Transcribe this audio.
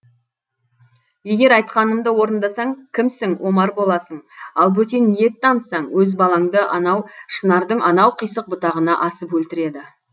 егер айтқанымды орындасаң кімсің омар боласың ал бөтен ниет танытсаң өз балаңды анау шынардың анау қисық бұтағына асып өлтіреді